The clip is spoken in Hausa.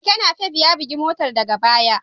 Keken Napep ya bugi motar daga baya.